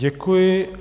Děkuji.